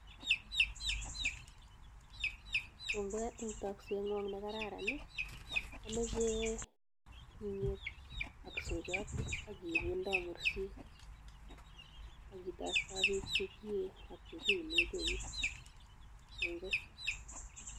Kongoi en takset nekararan amache imyet ak soiyot akibundon mursik akitareton bek chekiye achekiunen neut kongoi